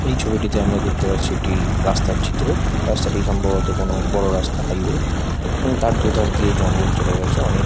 এই ছবিটিতে আমরা দেখতে পাচ্ছি একটি রাস্তার চিত্র | রাস্তাটি সম্ভবত কোনো বড় রাস্তা হাইওয়ে | এবং তার দুধার দিয়ে জঙ্গল চলে গেছে। অনেক --